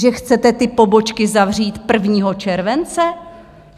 Že chcete ty pobočky zavřít 1. července?